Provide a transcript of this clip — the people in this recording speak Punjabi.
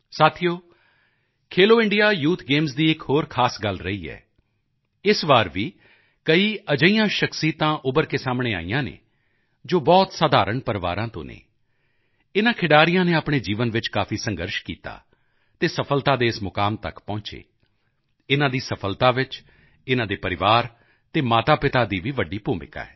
ਸਾਥੀਓ ਖੇਲੋ ਇੰਡੀਆ ਯੂਥ ਗੇਮਸ ਦੀ ਇੱਕ ਹੋਰ ਖਾਸ ਗੱਲ ਰਹੀ ਹੈ ਇਸ ਵਾਰ ਵੀ ਕਈ ਅਜਿਹੀਆਂ ਸ਼ਖ਼ਸੀਅਤਾਂ ਉੱਭਰ ਕੇ ਸਾਹਮਣੇ ਆਈਆਂ ਹਨ ਜੋ ਬਹੁਤ ਸਾਧਾਰਣ ਪਰਿਵਾਰਾਂ ਤੋਂ ਹਨ ਇਨ੍ਹਾਂ ਖਿਡਾਰੀਆਂ ਨੇ ਆਪਣੇ ਜੀਵਨ ਵਿੱਚ ਕਾਫੀ ਸੰਘਰਸ਼ ਕੀਤਾ ਅਤੇ ਸਫ਼ਲਤਾ ਦੇ ਇਸ ਮੁਕਾਮ ਤੱਕ ਪਹੁੰਚੇ ਇਨ੍ਹਾਂ ਦੀ ਸਫ਼ਲਤਾ ਵਿੱਚ ਇਨ੍ਹਾਂ ਦੇ ਪਰਿਵਾਰ ਅਤੇ ਮਾਤਾਪਿਤਾ ਦੀ ਵੀ ਵੱਡੀ ਭੂਮਿਕਾ ਹੈ